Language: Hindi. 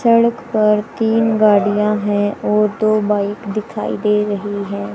सड़क पर तीन गाड़ियां हैं और दो बाइक दिखाई दे रही है।